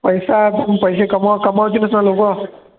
पैसा बघून पैसे कमव कामवायची नसणार लोकं